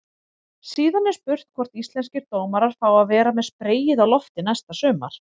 Síðan er spurning hvort íslenskir dómarar fái að vera með spreyið á lofti næsta sumar?